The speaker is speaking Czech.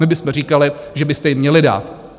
My bychom říkali, že byste jim měli dát.